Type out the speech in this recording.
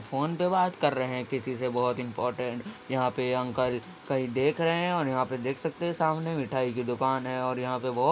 Phone पे बात करे हैं किसी से बोहोत इम्पोर्टेन्ट । यहाँ पे अंकल कहीं देख रहे हैं और यहाँ पे देख सकते हैं सामने मिठाई की दुकान है और यहाँ पे बोहोत --